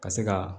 Ka se ka